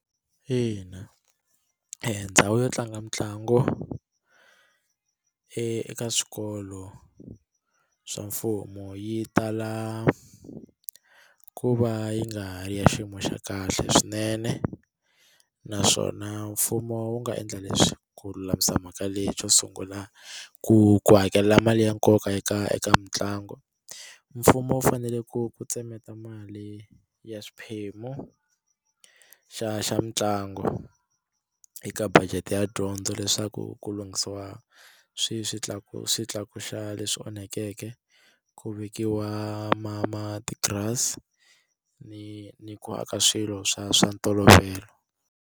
Ina endhawu yo tlanga mitlangu eka swikolo swa mfumo yi tala ku va yi nga ri ya xiyimo xa kahle swinene naswona mfumo wu nga endla leswi ku lulamisa mhaka leyi xo sungula ku ku hakelela mali ya nkoka eka eka mitlangu mfumo wu fanele ku ku tsemeta mali ya xiphemu xa xa mitlangu eka budget ya dyondzo leswaku ku lunghisiwa swi swi tlakusi swi leswi onhakeke ku vekiwa ma matirasi ni ni ku aka swilo swa swa ntolovelo.